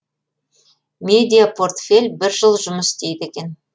медиа портфель бір жыл жұмыс істейді екен